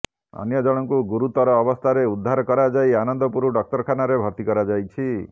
ଅନ୍ୟ ଜଣଙ୍କୁ ଗୁରୁତର ଅବସ୍ଥାରେ ଉଦ୍ଧାର କରାଯାଇ ଆନନ୍ଦପୁର ଡାକ୍ତରଖାନାରେ ଭର୍ତ୍ତି କରାଯାଇଛି